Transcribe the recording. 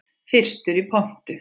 Fyrstur í pontu.